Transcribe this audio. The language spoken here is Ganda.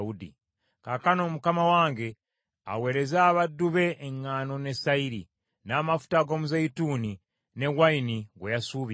“Kaakano mukama wange aweereze abaddu be eŋŋaano ne sayiri, n’amafuta ag’omuzeeyituuni ne wayini gwe yasuubiza,